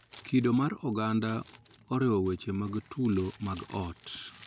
Kido mar oganda oriwo weche mag tulo mag ot